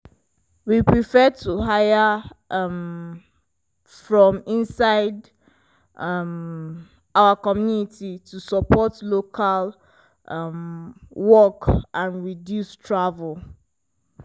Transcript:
we prefer to hire um from inside um our community to support local um work and reduce travel.